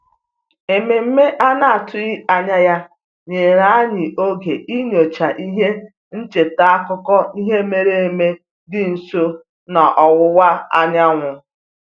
Ememe a na-atụghị anya ya nyere anyị oge inyocha ihe ncheta akụkọ ihe mere eme dị nso n'ọwụwa anyanwụ